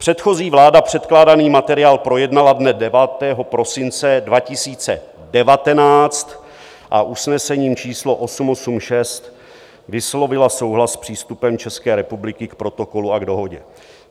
Předchozí vláda předkládaný materiál projednala dne 9. prosince 2019 a usnesením číslo 886 vyslovila souhlas s přístupem České republiky k Protokolu a k Dohodě.